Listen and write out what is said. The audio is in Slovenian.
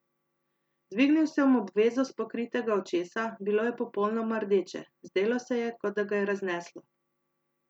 Dvignil sem obvezo s pokritega očesa, bilo je popolnoma rdeče, zdelo se je, kot da ga je razneslo.